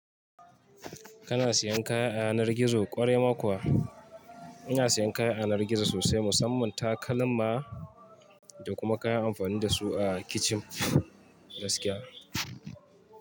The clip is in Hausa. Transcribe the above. Kana siyan kaya a yanar gizo ƙwarai ma kuwa? Ina siyan kaya a yanar gizo sosai, musamman takalma da kuma kayan amfani da su a kicin gaskiya.